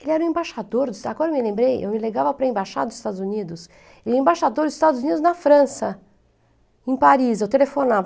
Ele era o embaixador, agora eu me lembrei, eu me ligava para o embaixado dos Estados Unidos, e o embaixador dos Estados Unidos na França, em Paris, eu telefonava.